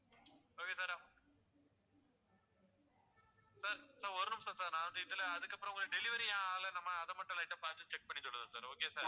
okay sir sir ஒரு நிமிஷம் sir நான் வந்து இதுல அதுக்கப்புறம் உங்களை delivery ஏன் ஆகலை நம்ம அதை மட்டும் light ஆ பாத்து check பண்ணி சொல்லுறேன் sir okay ஆ sir